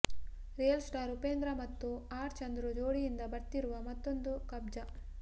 real star Upendra ಮತ್ತು R Chandru ಜೋಡಿಯಿಂದ ಬರ್ತಿರುವ ಮತ್ತೊಂದು ಕಬ್ಜ